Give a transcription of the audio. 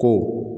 To